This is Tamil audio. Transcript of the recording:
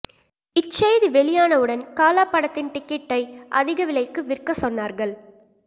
இச்செய்தி வெளியானவுடன் காலா படத்தின் டிக்கெட்டை அதிக விலைக்கு விற்க சொன்னார்கள்